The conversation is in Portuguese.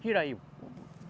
Tira aí.